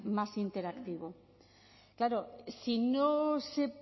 más interactivo claro si no se